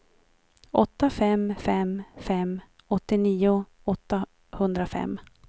åtta fem fem fem åttionio åttahundrafem